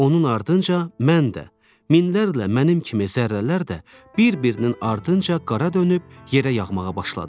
Onun ardınca mən də, minlərlə mənim kimi zərrələr də bir-birinin ardınca qara dönüb yerə yağmağa başladıq.